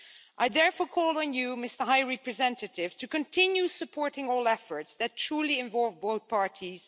I therefore call on you, Mr High Representative, to continue supporting all efforts that truly involve both parties.